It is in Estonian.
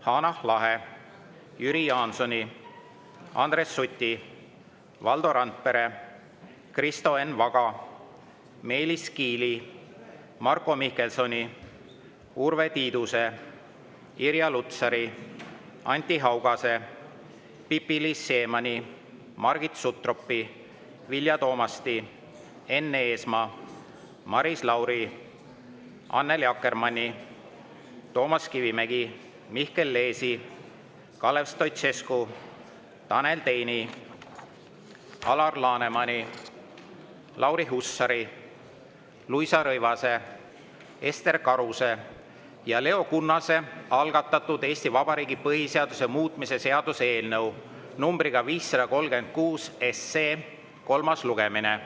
Hanah Lahe, Jüri Jaansoni, Andres Suti, Valdo Randpere, Kristo Enn Vaga, Meelis Kiili, Marko Mihkelsoni, Urve Tiiduse, Irja Lutsari, Anti Haugase, Pipi-Liis Siemanni, Margit Sutropi, Vilja Toomasti, Enn Eesmaa, Maris Lauri, Annely Akkermanni, Toomas Kivimägi, Mihkel Leesi, Kalev Stoicescu, Tanel Teini, Alar Lanemani, Lauri Hussari, Luisa Rõivase, Ester Karuse ja Leo Kunnase algatatud Eesti Vabariigi põhiseaduse muutmise seaduse eelnõu 536 kolmas lugemine.